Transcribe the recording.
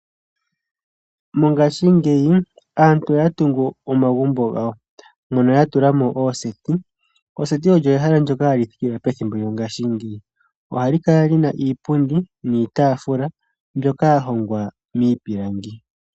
Mongaashingeyi, aantu oya tungu omagumbo gawo mono ya tula mo ooseti, Oseti olyo ehala ndyono hali thikilwa mongaashingeyi. Ohali kala li na iipundi niitaafula mbyoka ya hongwa miipilangi.